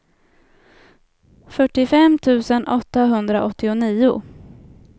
fyrtiofem tusen åttahundraåttionio